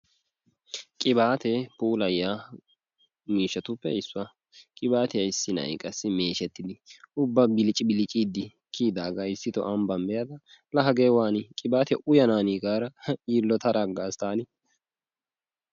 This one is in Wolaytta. Qibaatee puulayiya miishshatuppe issuwa. Qibaatiya issi na'ay qassi meeshettidi ubba bilccibiliciiddi kiyidaagaa ambban be'ada laa hagee waani qibaatiya uyanaanii gaada yiillotada aggaas taani.